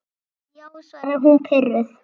Já, svaraði hún pirruð.